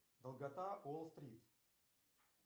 долгота уолл стрит